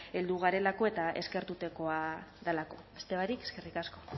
heldu garelako eta eskertzekoa delako beste barik eskerrik asko